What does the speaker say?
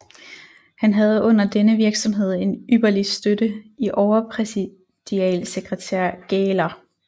Han havde under denne virksomhed en ypperlig støtte i overpræsidialsekretær Gähler